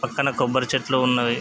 పక్కన కొబ్బరి చెట్లు ఉన్నవి.